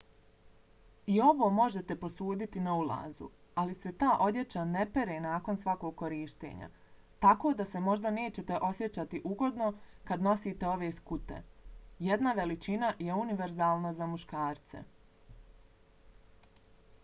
i ovo možete posuditi na ulazu ali se ta odjeća ne pere nakon svakog korištenja tako da se možda nećete osjećati ugodno kad nosite ove skute. jedna veličina je univerzalna za muškarce!